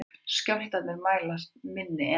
Skjálftar er mælast minni en